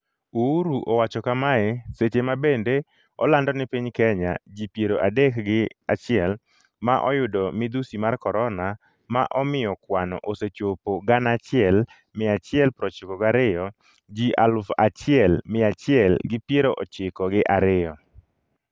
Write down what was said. Uhuru owacho kamae seche mabende olando ni piny Kenya ji piero adek gi chiel ​​ma oyudo midhusi mar corona ma omiyo kwanno osechopo 1192ji aluf achiel miya achiel gi piero chiko gi ariyo.